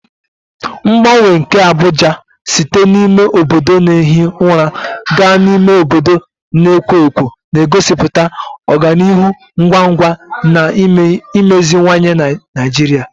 Mgbanwe nke Abuja site n'ime obodo na-ehi ụra gaa n'ime obodo na-ekwo ekwo na-egosipụta ọganihu ngwa ngwa na imeziwanye Naijiria.